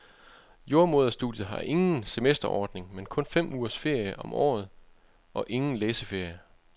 Jordemoderstudiet har ikke har ingen semesterordning, men kun fem ugers ferie om året og ingen læseferier.